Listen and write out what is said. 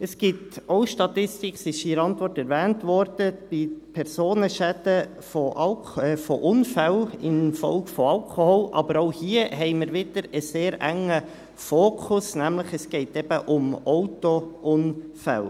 Es gibt auch eine Statistik – sie wurde in der Antwort erwähnt – bei Personenschäden durch Unfälle infolge von Alkohol, aber auch hier haben wir wieder einen sehr engen Fokus, es geht nämlich eben um Autounfälle.